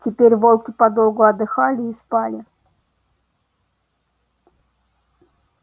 теперь волки подолгу отдыхали и спали